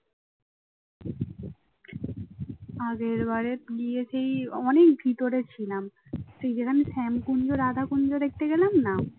আগের বারে গিয়েছি অনেক ভিতরে ছিলাম সেই যেখানে শ্যাম কুঞ্জ, রাধা কুঞ্জ দেখতে গেলাম না